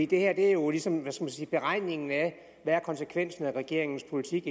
det her er jo ligesom beregningen af hvad konsekvensen af regeringens politik